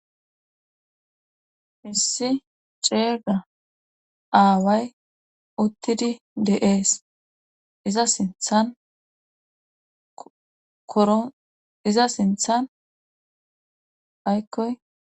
Issi ceega aaway uttidi deees iza ithanoroiza sinthan aykkoy.